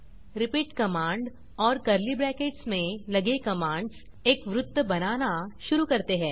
repeat command और curly brackets में लगे कमांड्स एक वृत्त बनाना शुरू करते हैं